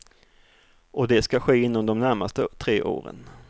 Och det ska ske inom de närmaste tre åren.